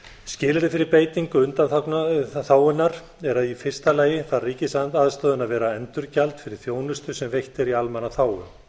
skilyrði fyrir beitingu undanþágunnar er að í fyrsta lagi þarf ríkisaðstoðin að vera endurgjald fyrir þjónustu sem veitt er í almannaþágu